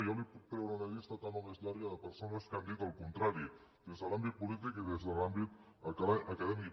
jo li puc treure una llista tan o més llarga de persones que han dit el contrari des de l’àmbit polític i des de l’àmbit acadèmic